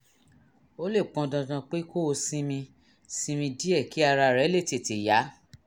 ó lè pọn dandan pé kó o sinmi sinmi díẹ̀ kí ara rẹ lè tètè yá